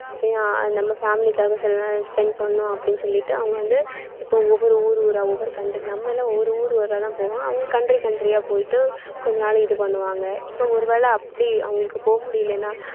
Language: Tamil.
நம்ம family காக சில நேரம் spend பண்ணணும் அப்படீன்னு சொல்லிட்டு அவங்க வந்து இப்ப ஒவ்வொரு ஊர் ஊரா ஒவ்வொரு coun~ நம்ம எல்லாம் ஒவ்வொரு ஊரு ஊராதான் போவோம் அவங்க country country யா போயிட்டு கொஞ்ச நாளைக்கு இது பண்ணுவாங்க இப்ப ஒருவேளை அப்படி அவங்களுக்கு போக முடியலன்னா